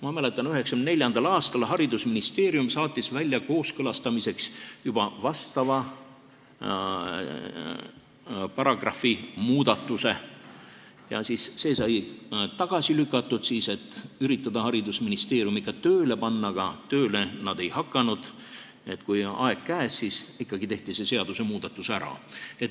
Ma mäletan, et 1994. aastal saatis haridusministeerium kooskõlastamiseks juba vastava paragrahvi muudatuse ja see sai siis tagasi lükatud, et üritada haridusministeeriumi ka tööle panna, aga tööle nad ei hakanud ning kui aeg käes, siis ikkagi tehti see seadusmuudatus ära.